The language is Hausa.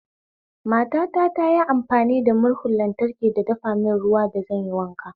Matata tayi amfani da murhun lantraki ta dafa mun ruwan da zanyi wanka